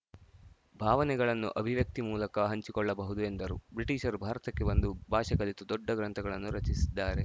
ಭಾವನೆಗಳನ್ನು ಅಭಿವ್ಯಕ್ತಿ ಮೂಲಕ ಹಂಚಿಕೊಳ್ಳಬಹುದು ಎಂದರು ಬ್ರಿಟೀಷರು ಭಾರತಕ್ಕೆ ಬಂದು ಭಾಷೆ ಕಲಿತು ದೊಡ್ಡ ಗ್ರಂಥಗಳನ್ನು ರಚಿಸಿದ್ದಾರೆ